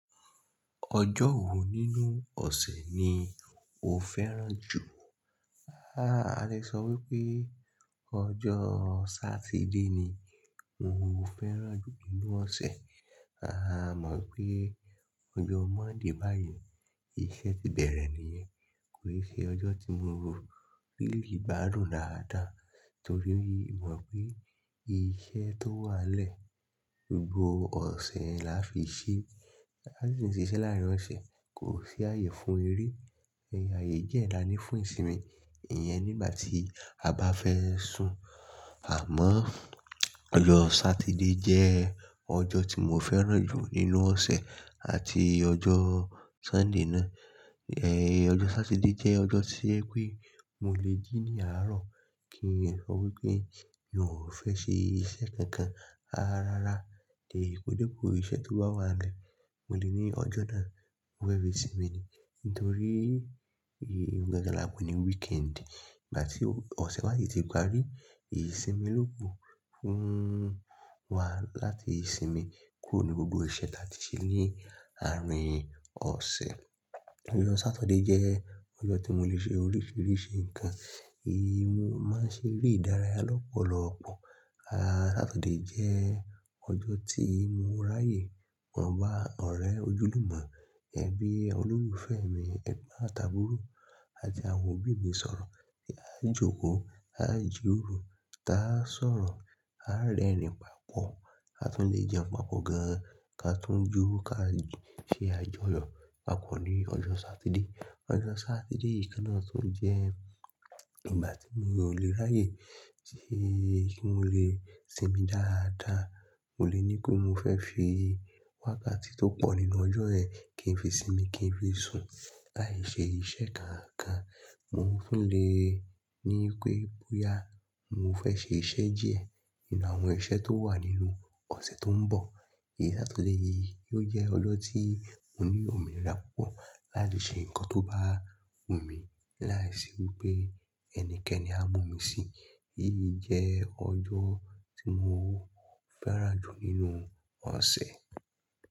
Ọjọ́ wo nínú ọ̀sẹ̀ ni o fẹ́ràn jù? A le sọ wípé ọjọ́ Sátidé ni mò ń fẹ́ràn jù nínú ọ̀sẹ̀. A mọ̀ pé ọjọ́ Monday báyìí iṣẹ́ ti bẹ̀rẹ̀ nìyẹn kò ṣe ọjọ́ tí mo lè ri igbadun dáadáa torí mo mọ̀ pé iṣẹ́ tó wà lẹ́ gbogbo ọ̀sẹ̀ la fi ṣe. A ti ń ṣiṣẹ́ láàárin ọ̀sẹ̀ kò sí aayé fún eré. Aaye die la ni fún ìsinmi, ìyẹn nígbà tí a bá fẹ́ sùn. Àmọ́ ọjọ́ Sátidé jẹ́ ọjọ́ tí mo fẹ́ràn jù nínú ọ̀sẹ̀ àti ọjọ́ Sunday náà. Ẹ̀ ọjọ́ Sátidé jẹ́ ọjọ́ tí ẹ pé mo lè jí ní àárọ̀ kí n sọ wípé mi ò fẹ́ ṣe iṣẹ́ kankan. Rárá, dè podé po ìṣe tó bá wà n lẹ́, mo lè ní ọjọ́ náà mo fẹ́ fi sín mi ni. Nítorí un gangan lápe ni weekend. Ígbà tí ọ̀sẹ̀ bá si ti parí, ìsinmi ló kù fún wa láti sinmi kúrò nu gbogbo iṣẹ́ tí a ti ṣe ni àárín ọ̀sẹ̀. Ọjọ́ Saturday jẹ́ ọjọ́ tí mo lè ṣe oríṣìíríṣìí nǹkan. Mo máa ń ṣe eré ìdárayá lọ́pọ̀lọ́ọpọ̀. A Sátidé jẹ́ ọjọ́ tí mo ráyè máa bá ọ̀rẹ́ ojúlùmọ́ ẹbí, olólùfẹ́ mi, ẹ̀gbọ́n àti aburo àti àwọn òbí mi sọ̀rọ̀. A jókòó, a jìróro, táa sọ̀rọ̀, á rẹ́rìn papọ̀, a tún lè jẹun papọ̀ gan, ka tún jó, ká ṣe àjọyọ̀ papọ̀ ní ọjọ́ Sátidé. Ọjọ́ Sátidé yìí kan náà tún jẹ́ ìgbà tí miò lè ráyè tí mo lè sinmi dáadáa. Mò lè ní pé mò fẹ́ fi wákàtí tó pọ̀ nínú ọjọ́ yẹn kí n fi sinmi kí n fi sùn láì ṣe iṣẹ́ kankan. Mo ń tún le ní pé bóyá mo fẹ́ ṣe iṣẹ́ díẹ̀ nínú àwọn iṣẹ́ tó wà nínú ọ̀sẹ̀ tó ń bọ̀. Ẹ̀ Sátidé yìí ò jẹ́ ọjọ́ tí mo ní òmíràn púpọ̀ láti ṣe nǹkan tó bá wù mí láìsí wípé ẹnikẹ́ni á mú mi síi. Yíyí jẹ́ ọjọ́ tí mo fẹ́ràn jù nínú ọ̀sẹ̀.